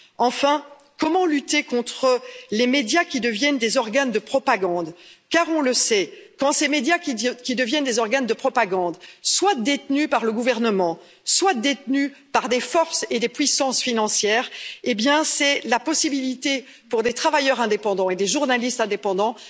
Enfin, comment lutter contre les médias qui deviennent des organes de propagande, car on le sait, quand ces médias qui deviennent des organes de propagande, soit détenus par le gouvernement, soit détenus par des forces et des puissances financières, c'est l'impossibilité pour des travailleurs indépendants et des journalistes indépendants